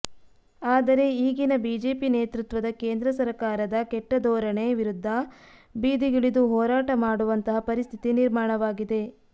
ಆದರೆ ಈಗಿನ ಬಿಜೆಪಿ ನೇತೃತ್ವದ ಕೇಂದ್ರ ಸರಕಾರದ ಕೆಟ್ಟ ಧೋರಣೆ ವಿರುದ್ಧ ಬೀದಿಗಿಳಿದು ಹೋರಾಟ ಮಾಡುವಂತಹ ಪರಿಸ್ಥಿತಿ ನಿರ್ಮಾಣವಾಗಿದೆ